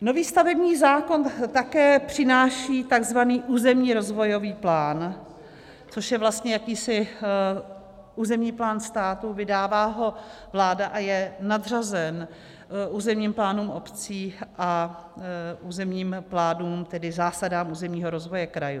Nový stavební zákon také přináší tzv. územní rozvojový plán, což je vlastně jakýsi územní plán státu, vydává ho vláda a je nadřazen územním plánům obcí a územním plánům, tedy zásadám územního rozvoje krajů.